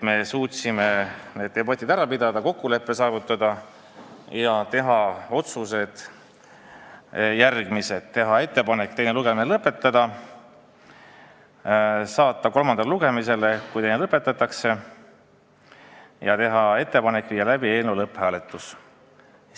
Me suutsime need debatid ära pidada, kokkuleppe saavutada ja teha järgmised otsused: teeme ettepaneku teine lugemine lõpetada ja saata eelnõu kolmandale lugemisele, kui teine lugemine lõpetatakse, ning viia siis läbi eelnõu lõpphääletus.